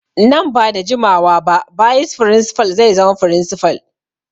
Nan ba da jimawa ba bayis firinsifal zai zama firinsifal.